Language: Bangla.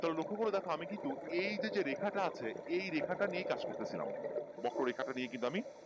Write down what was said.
তাহলে লক্ষ্য করে দেখো আমি কিন্তু এই যে যে রেখা টা আছে এই রেখা টা নিয়েই কাজ করতেছিলাম বক্র রেখাটা নিয়েই কিন্তু আমি